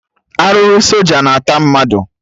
Arụrụ soja na ata mmadụ